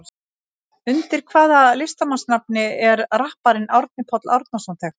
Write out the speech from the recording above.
Undir hvaða listamannsnafni er rapparinn Árni Páll Árnason þekktur?